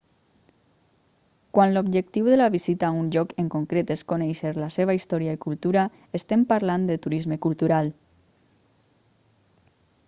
quan l'objectiu de la visita a un lloc en concret és conèixer la seva història i cultura estem parlant de turisme cultural